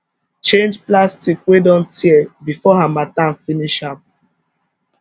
change plastic wey don tear before harmattan finish am